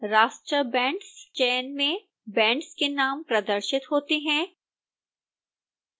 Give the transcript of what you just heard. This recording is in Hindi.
raster bands चयन में बैंड्स के नाम प्रदर्शित होते हैं